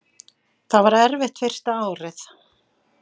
Það var erfitt fyrsta árið.